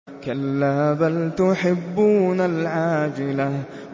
كَلَّا بَلْ تُحِبُّونَ الْعَاجِلَةَ